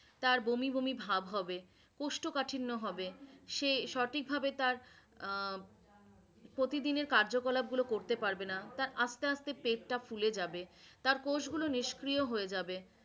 তার বমি বমি ভাব হবে, উষ্ট কাঠিন্ন হবে, সে সঠিক ভাবে তার আহ প্রতিদিনের কার্য কলাপগুলো করতে পারবে না, তার আস্তে আস্তে পেটটা ফুলে যাবে, তার কোষগুলো নিষ্ক্রিয় হয়ে যাবে